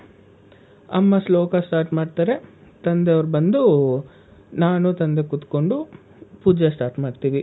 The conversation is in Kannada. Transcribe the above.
ಅಮ್ಮ ಶ್ಲೋಕ start ಮಾಡ್ತಾರೆ, ತಂದೆಯವ್ರು ಬಂದು ನಾನು ತಂದೆ ಕುತ್ಕೊಂಡು ಪೂಜೆ start ಮಾಡ್ತೀವಿ.